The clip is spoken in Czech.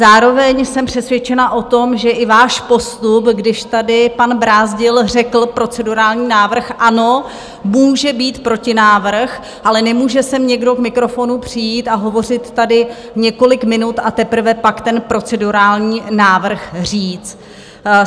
Zároveň jsem přesvědčena o tom, že i váš postup, když tady pan Brázdil řekl procedurální návrh - ano, může být protinávrh, ale nemůže sem někdo k mikrofonu přijít a hovořit tady několik minut a teprve pak ten procedurální návrh říct.